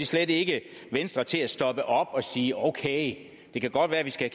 slet ikke venstre til at stoppe op og sige okay det kan godt være vi skal